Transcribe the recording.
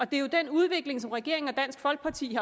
det er jo den udvikling som regeringen og dansk folkeparti